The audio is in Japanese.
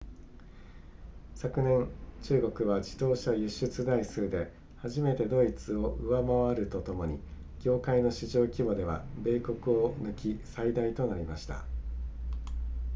昨年中国は自動車輸出台数で初めてドイツを上回るとともに業界の市場規模では米国を抜き最大となりました